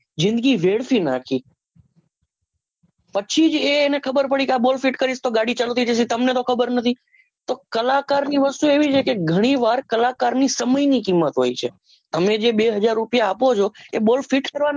જીંદગી વેડફી નાખી પછી જ એ એને ખબરપડી કે આ bolt ફિટ કર્યું તો ગાડી ચાલુ થઇ જશે તમને તો ખબર તો ખબર નથી કલાકાર ની વસ્તુ એવી છે કે ઘણી વાર કલાકારસમય ની કિમત હોય છે તમે જે બે હાજર રૂપિયા આપો છો boltfeet કરવાન નથી આપતા